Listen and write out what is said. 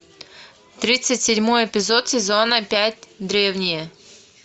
тридцать седьмой эпизод сезона пять древние